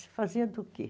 Se fazia do quê?